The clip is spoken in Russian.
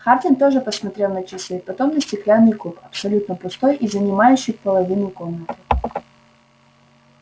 хардин тоже посмотрел на часы потом на стеклянный куб абсолютно пустой и занимающий половину комнаты